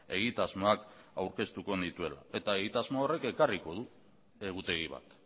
egitasmoak aurkeztuko nituela eta egitasmo horrek ekarriko du egutegi bat